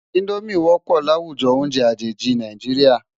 Indómi wòpò láwújò óùnjè ajéji Nájiriá